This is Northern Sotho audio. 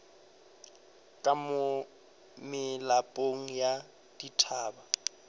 ka mo melapong ya dithaba